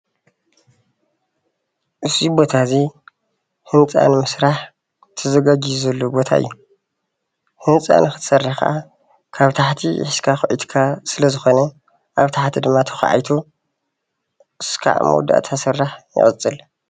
እዚ ቦታ እዙይ ህንፃ ንምስራሕ ተዘጋጂዩ ዘሎ ቦታ እዩ። ህንጻ ንክትሰርሕ ከዓ ካብ ታሕቲ ሒዝካ ክትሰርሕ ስለዝኮነ ኣብ ታሕቲ ድማ ተካዒቱ ክሳብ መወዳእታ ዝስራሕ ይቕጽል።